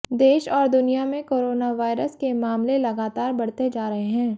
देश और दुनिया में कोरोना वायरस के मामले लगातार बढ़ते जा रहे हैं